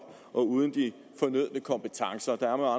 og uden de fornødne kompetencer der er